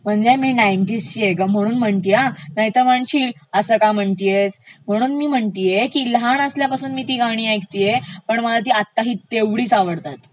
म्हणजे मी नाइन्टीज ची आहे ग म्हणून असं म्हणतेय नाहीतर तुला वाटेल असं का म्हणतेयस म्हणून मी म्हणतेय लहानपणापासून मी ती गाणी ऐकतेय पण मला ती आत्ता ही तेवढीचं आवडतात.